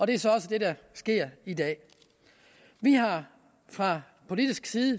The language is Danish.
det er så også det der sker i dag vi har fra politisk side